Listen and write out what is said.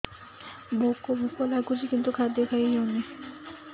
ଭୋକ ଭୋକ ଲାଗୁଛି କିନ୍ତୁ ଖାଦ୍ୟ ଖାଇ ହେଉନି